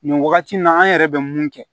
Nin wagati in na an yɛrɛ bɛ mun kɛ